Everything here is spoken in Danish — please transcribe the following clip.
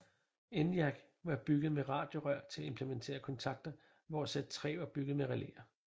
ENIAC var bygget med radiorør til at implementere kontakter hvor Z3 var bygget med relæer